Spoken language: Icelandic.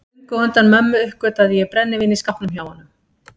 Löngu á undan mömmu uppgötvaði ég brennivín í skápnum hjá honum.